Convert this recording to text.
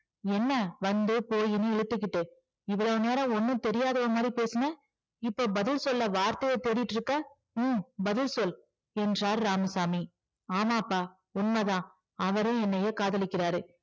என்ன? வந்து போயின்னு இழுத்துகிட்டு இவ்வளவு நேரம் ஒன்னும் தெரியாதவ மாதிரி பேசுன இப்போ பதில் சொல்ல வார்த்தைய தேடிக்கிட்டு இருக்கிற உம் பதில் சொல் என்றார் இராமசாமி ஆமாப்பா உண்மைதான் அவரும் என்னைய காதலிக்கிறாரு